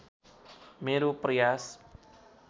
मेरो प्रयास